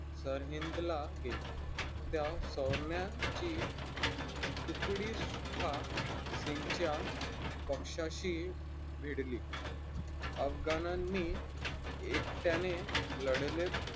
तर हिंदला नेले सौम्याची उकडी सुखा सिंगच्या पक्ष्याशी भिडली अफगानाणी एकट्याने लढले.